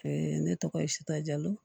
ne tɔgɔ ye sutara